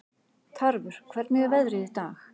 Tarfur, hvernig er veðrið í dag?